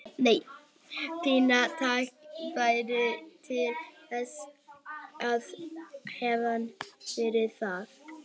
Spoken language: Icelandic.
Fínasta tækifæri til þess að hefna fyrir það.